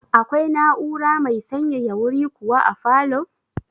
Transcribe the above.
Akwai na'ura mai sanyaya wuri kuwa a falow?